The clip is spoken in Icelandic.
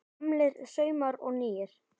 Gamlir saumar og nýir